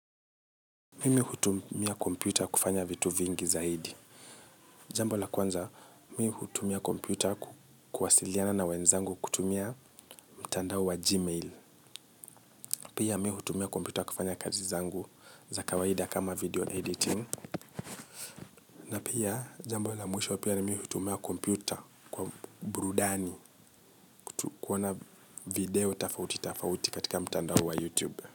Mimi hutumia kompyuta kufanya vitu vingi zaidi. Jambo la kwanza, mi hutumia kompyuta kuwasiliana na wenzangu kutumia mtandao wa gmail. Pia mi hutumia kompyuta kufanya kazi zangu za kawaida kama video editing. Na pia, jambo la mwisho pia, mimi hutumia kompyuta kwa burudani. Tu kuona video tofauti tofauti katika mtandao wa youtube.